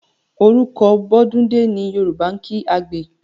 Àroko bọ́dúndé ni Yòrùbá ń kí àgbẹ̀